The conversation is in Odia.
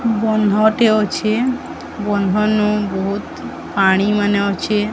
ବନ୍ଦ ଟେ ଅଛି ବନ୍ଦ ନୁ ବହୁତ ପାଣି ମାନେ ଅଛି।